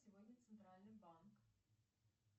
сегодня центральный банк